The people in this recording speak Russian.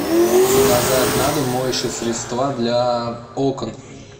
заказать на дом моющие средства для окон